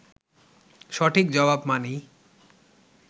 সঠিক জবাব মানেই